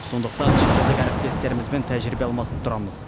сондықтан шетелдік әріптестерімізбен тәжірибе алмасып тұрамыз